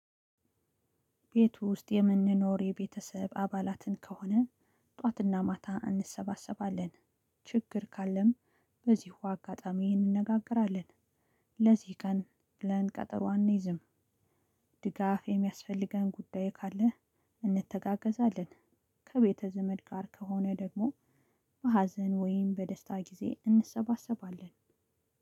ቤት ውስጥ የምንኖር የቤተሰብ አባላትን ከሆነ ጠዋትና ማታ እንሰባሰባለን ችግር ካለም በዚሁ አጋጣሚ እንነጋገራለን። ለዚህ ቀን ብለ ቀጠሮ አንይዝም። ድጋፍ የሚያስፈልገን ጉዳይ ካለ እንተጋገዛለን። ከቤተ ዘመድ ጋር ከሆነ ደግሞ በሀዘን ወይም በደስታ ጊዜ እንሰባሰባለን።